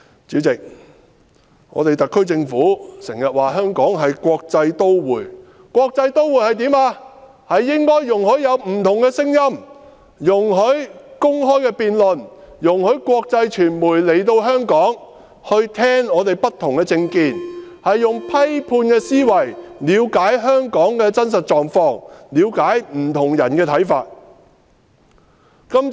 主席，特區政府經常說香港是國際都會，國際都會應該容許有不同的聲音，容許公開辯論，容許國際傳媒來香港聽取我們不同的政見，用批判的思維了解香港的真實狀況，了解不同人士的看法。